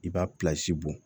I b'a bɔn